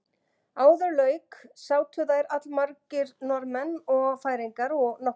Áður lauk sátu þær allmargir Norðmenn og Færeyingar og nokkrir Írar.